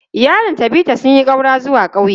Iyalin Tabitha sun yi ƙaura zuwa ƙauye.